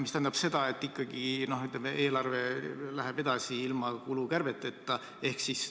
See tähendab seda, et ikkagi eelarve läheb edasi ilma kulukärbeteta.